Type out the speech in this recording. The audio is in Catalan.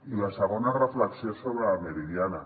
i la segona reflexió és sobre la meridiana